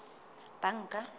banka